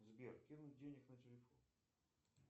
сбер кинуть денег на телефон